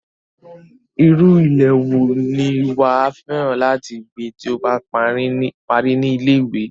Irú ilé wo ni wàá fẹ́ràn láti gbé tí o bá parí ní ilé-ìwé?